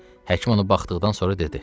Həkim onu baxdıqdan sonra dedi: